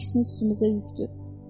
Əksinə üstümüzə yükdür.